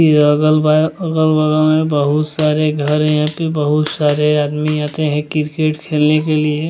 ये अगल अगल-बगल में बहुत सारे घर हैं यहाँ पे बहुत सारे आदमी आते हैं किरकेट खेलने के लिए।